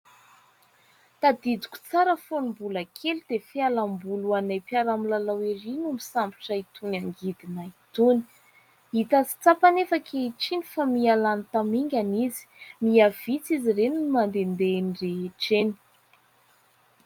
Tadidiko tsara fony mbola kely dia fialamboly ho anay mpiara-milalao ery no misambotra itony angidina itony, hita sy tsapa anefa ankehitriny fa mihalany tamingana izy, mihavitsy izy ireny no mandehandeha eny rehetra eny.